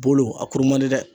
Bolo, a kuru man di dɛ!